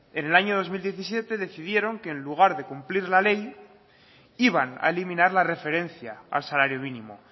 en el año dos mil diecisiete decidieron que en lugar de cumplir la ley iban a eliminar la referencia al salario mínimo